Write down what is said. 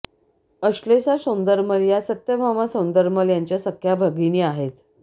अश्लेषा सौंदरमल या सत्यभामा सौंदरमल यांच्या सख्या भगिनी आहेत